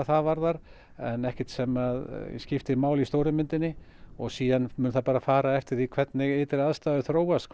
það varðar en ekkert sem að skiptir málu í stóru myndinni og svo mun það bara fara eftir því hvernig ytri aðstæður þróast